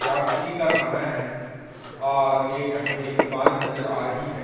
रात्रि का समय है और एक हमें इमारत नज़र आ रही है।